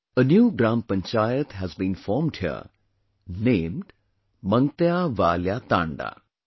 A new Gram Panchayat has been formed here, named 'MangtyaValya Thanda'